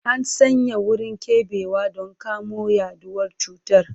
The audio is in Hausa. An sanya wurin keɓewa don kamo yaduwar cutar.